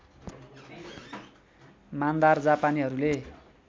मान्दार जापानीहरूले